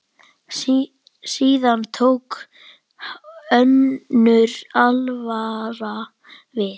Síðan tók önnur alvara við.